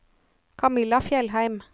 Kamilla Fjellheim